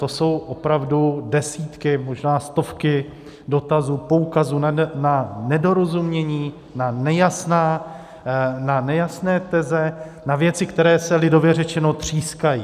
To jsou opravdu desítky, možná stovky dotazů, poukazů na nedorozumění, na nejasné teze, na věci, které se lidově řečeno třískají.